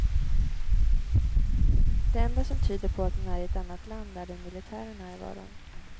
Det enda som tyder på att man är i ett annat land är den militära närvaron.